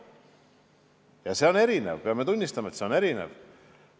Kättesaadavus on erinev, me peame tunnistama, see on erinev.